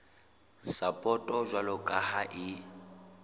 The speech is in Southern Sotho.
sapoto jwalo ka ha e